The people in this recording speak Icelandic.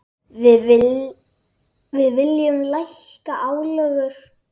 Við viljum lækka álögur.